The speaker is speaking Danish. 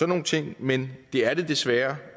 nogle ting men det er det desværre